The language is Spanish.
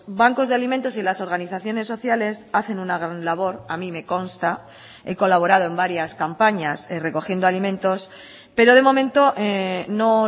bancos de alimentos y las organizaciones sociales hacen una gran labor a mi me consta he colaborado en varias campañas recogiendo alimentos pero de momento no